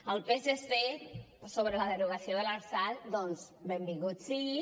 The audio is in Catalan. al psc sobre la derogació de l’lrsal doncs benvinguts siguin